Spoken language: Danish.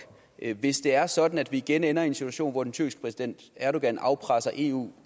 hvis det er sådan at vi igen ender i en situation hvor den tyrkiske præsident erdogan afpresser eu